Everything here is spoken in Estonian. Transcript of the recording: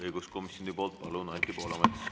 Õiguskomisjoni poolt, palun, Anti Poolamets!